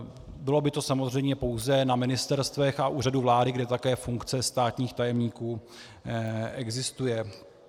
Bylo by to samozřejmě pouze na ministerstvech a úřadu vlády, kde také funkce státních tajemníků existuje.